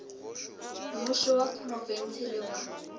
mmušo wa profense le wa